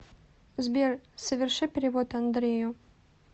сбер соверши перевод андрею